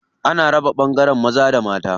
Ana raba ɓangaren maza da mata.